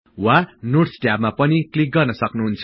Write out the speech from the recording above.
वा नोट्स ट्याबमा पनि क्लिक गर्नसक्नु हुन्छ